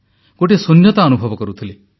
ଗୋଟିଏ ଶୂନ୍ୟତା ଅନୁଭବ କରୁଥିଲି